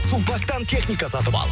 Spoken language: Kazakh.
сулпактан техника сатып ал